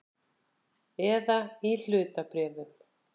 Eða í hlutabréfum.